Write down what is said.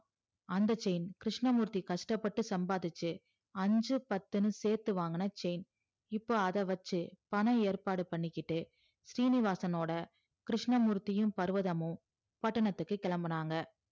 அந்த chain கிருஸ்னமூர்த்தி கஷ்ட்டப்பட்டு சம்பாதிச்சி ஐஞ்சு பத்துன்னு சேத்து வாங்குன chain இப்போ அத வச்சி பணம் ஏற்பாடு பண்ணிக்கிட்டு சீனிவாசனோட கிருஸ்னமூர்த்தியும் பருவதம் பட்டணத்துக்கு கிழம்புனாங்க